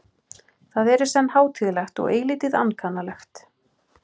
Það er í senn hátíðlegt og eilítið ankannalegt.